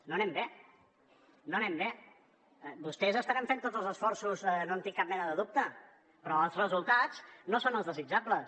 no anem bé no anem bé vostès deuen estar fent tots els esforços no en tinc cap mena de dubte però els resultats no són els desitjables